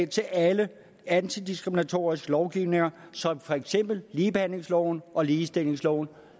til alle antidiskriminatoriske lovgivninger som for eksempel ligebehandlingsloven og ligestillingsloven